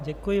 Děkuji.